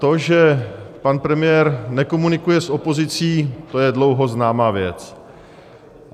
To, že pan premiér nekomunikuje s opozicí, to je dlouho známá věc.